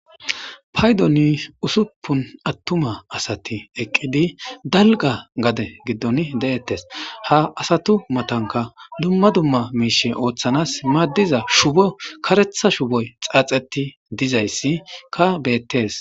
Paydoni usuppun aththuma asathi eqqidi dalgga gade giddoni deeththes; ha asathu mathankka dumma dumma miishhi ooththanas maaddiza shubo kareththa shuboy xaaxeththi dizaysskka beeththes.